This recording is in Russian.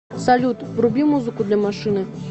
салют вруби музыку для машины